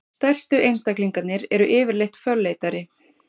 stærstu einstaklingarnir eru yfirleitt fölleitari